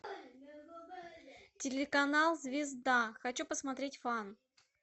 телеканал звезда хочу посмотреть фан